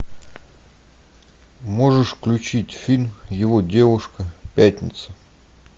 можешь включить фильм его девушка пятница